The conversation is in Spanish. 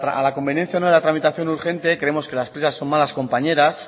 a la conveniencia o no de la tramitación urgente creemos que las prisas son malas compañeras